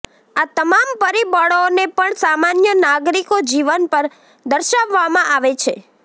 આ તમામ પરિબળોને પણ સામાન્ય નાગરિકો જીવન પર દર્શાવવામાં આવે છે